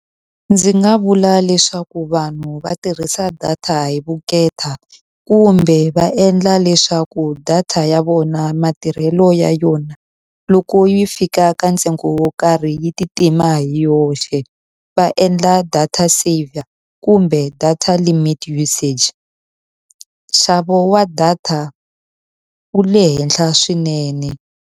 Ndzi nga vula leswaku vanhu va tirhisa data hi vukheta, kumbe va endla leswaku data ya vona matirhelo ya yona loko yi fika ka ntsengo wo karhi yi ti tima hi yoxe. Va endla data saver kumbe data limit usage. Nxavo wa data wu le henhla swinene.